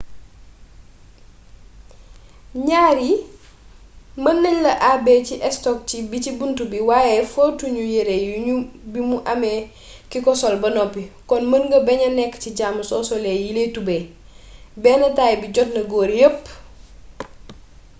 ñaar yii mën nañ leen àbbee ci estok bi ci buntu bi waaye fóotu ñu yere yoonu bimu amee kiko sol ba noppi kon mën nga baña nekk ci jàmm soo solee yile tubey benn taay bi jotna góor yépp